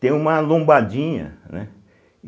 Tem uma lombadinha, né?